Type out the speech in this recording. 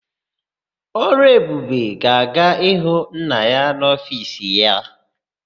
Ọlụebube ga-aga ịhụ nna ya n'ofiisi ya.